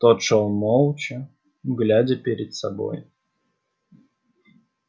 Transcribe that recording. тот шёл молча глядя перед собой